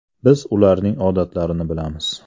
Biz ularning odatlarini bilamiz.